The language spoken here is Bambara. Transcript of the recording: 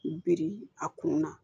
Biri a kun na